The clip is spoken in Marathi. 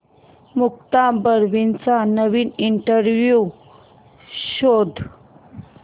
मुक्ता बर्वेचा नवीन इंटरव्ह्यु शोध